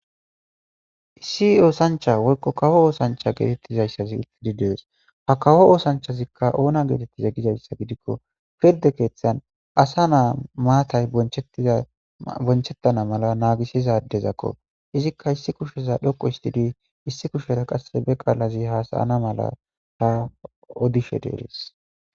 issi oosancha woykko kawo oosancha geetettizayssazi ittidi dees ha kawo oosanchazikka oona geetettiza gizayssa gidikko pirde keeththan asa naa maatay bonchettana mala naagisizadezakko izikka issi kusheza dhoqo histidi issi kushera qasse be qaalazi hasayana mala ta odishe deeres